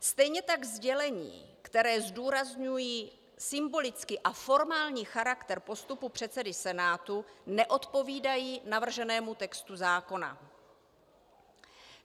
Stejně tak sdělení, která zdůrazňují symbolický a formální charakter postupu předsedy Senátu, neodpovídají navrženému textu zákona.